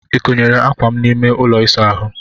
I konyere ákwà m n'ime ụlọ ịsa ahụ?